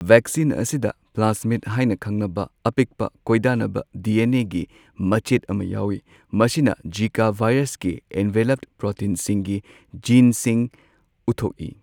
Vaccine ꯑꯁꯤꯗ ꯄ꯭ꯂꯥꯁꯃꯤꯗ ꯍꯥꯏꯅ ꯈꯪꯅꯕ ꯑꯄꯤꯛꯄ, ꯀꯣꯏꯗꯥꯅꯕ ꯗꯤ ꯑꯦ ꯅꯦꯒꯤ ꯃꯆꯦꯠ ꯑꯃꯥ ꯌꯥꯎꯋꯤ꯫ ꯃꯁꯤꯅ ꯓꯤꯀꯥ ꯚꯥꯏꯔꯁꯀꯤ ꯑꯦꯟꯚꯦꯂꯞ ꯄ꯭ꯔꯣꯇꯤꯟꯁꯤꯡꯒꯤ ꯖꯤꯟꯁꯤꯡ ꯎꯠꯊꯣꯛꯏ꯫